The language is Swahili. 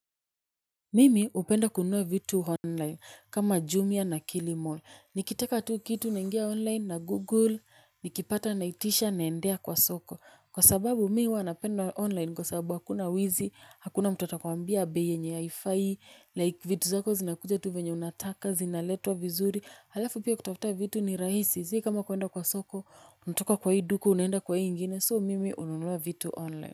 Mimi hupenda kununua vitu online kama Jumia na Kilimall. Nikitaka tu kitu naingia online nagoogle, nikipata naitisha naendea kwa soko. Kwa sababu mi huwa napenda online kwa sababu hakuna wizi, hakuna mtu atakwambia bei yenye haifai, like vitu zako zinakuja tu vyenye unataka, zinaletwa vizuri, halafu pia kutafuta vitu ni rahisi si kama kuenda kwa soko, unatoka kwa hii duka, unaenda kwa hii ingine, so mimi hununua vitu online.